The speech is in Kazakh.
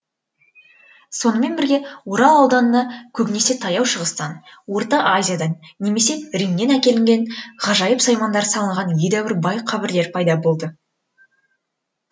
сонымен бірге орал ауданыны көбінесе таяу шығыстан орта азиядан немесе римнен әкелінген ғажайып саймандар салынған едәуір бай қабірлер пайда болады